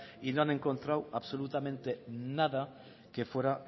y no han encontrado absolutamente nada que fuera